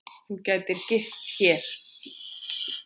Þú gætir gist hér.